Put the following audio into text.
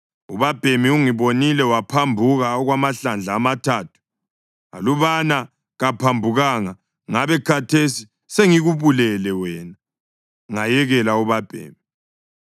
Ubabhemi ungibonile waphambuka okwamahlandla amathathu. Alubana kaphambukanga, ngabe khathesi sengikubulele wena, ngayekela ubabhemi.”